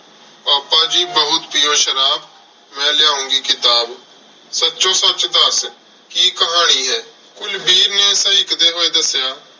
ਪਾਪਾ ਜੀ ਬਹੁਤ ਪੀਉ ਸ਼ਰਾਬ, ਮੈਂ ਲਿਆਉਂਗੀ ਕਿਤਾਬ। ਸੱਚੋ ਸੱਚ ਦੱਸ ਕੀ ਕਹਾਣੀ ਏ? ਕੁਲਵੀਰ ਨੇ ਸਹਿਕਦੇ ਹੋਏ ਦੱਸਿਆ